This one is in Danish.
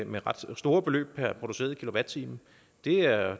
med ret store beløb per produceret kilowatt time det er